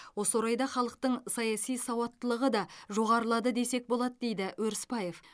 осы орайда халықтың саяси сауаттылығы да жоғарылады десек болады дейді өрісбаев